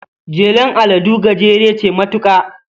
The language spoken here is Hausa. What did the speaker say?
Jelar aladu gajera ce matuka.